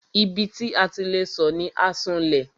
Ibi tí a ti le sọ̀ ni Asunlẹ̀.